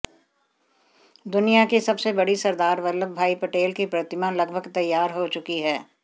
दुनिया की सबसे बड़ी सरदार वल्लभभाई पटेल की प्रतिमा लगभग तैयार हो चुकी है